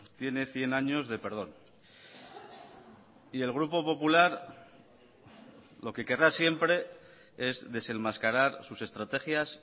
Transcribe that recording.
tiene cien años de perdón y el grupo popular lo que querrá siempre es desenmascarar sus estrategias